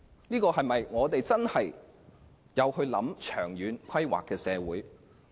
是否一個真正會作長遠規劃的社會？